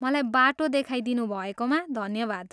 मलाई बाटो देखाइदिनुभएकोमा धन्यवाद।